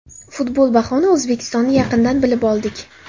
Futbol bahona O‘zbekistonni yaqindan bilib oldik.